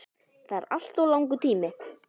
Það er alltof langur tími.